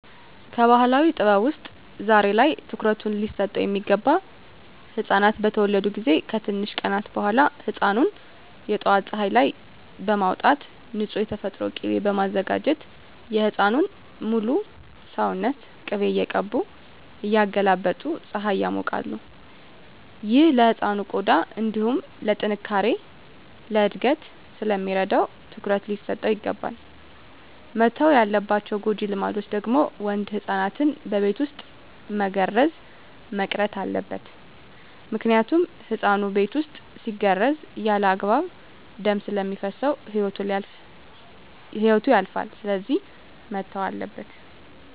ከባህላዊ ጥበብ ውስጥ ዛሬ ላይ ትኩሩት ሊሰጠው ሚገባ ህፃናት በተወለዱ ጊዜ ከትንሽ ቀናት በኋላ ህፃኑን የጠዋት ፀሀይ ላይ በማውጣት ንፁህ የተፈጥሮ ቂቤ በማዘጋጀት የህፃኑን ሙሉ ሰውነት ቅቤ እየቀቡ እያገላበጡ ፀሀይ ያሞቃሉ። ይህ ለህፃኑ ቆዳ እንዲሁም ለጥነካሬ፣ ለእድገት ስለሚረዳው ትኩረት ሊሰጠው ይገባል። መተው ያለባቸው ጎጂ ልማዶች ደግሞ ወንድ ህፃናትን በቤት ውስጥ መገረዝ መቅረት አለበት ምክንያቱም ህፃኑ ቤት ውስጥ ሲገረዝ ያለአግባብ ደም ስለሚፈስሰው ህይወቱ ያልፋል ስለዚህ መተው አለበት።